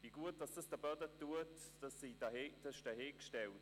Wie gut dies den Böden getan hat, sei dahingestellt.